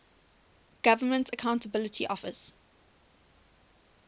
government accountability office